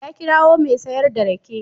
Ya kirawo mai sayar da rake.